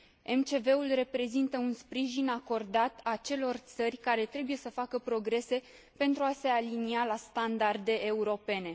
MCV ul reprezintă un sprijin acordat acelor țări care trebuie să facă progrese pentru a se alinia la standarde europene.